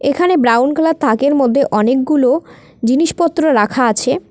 এখানে brown colour থাকের মধ্যে অনেকগুলো জিনিসপত্র রাখা আছে।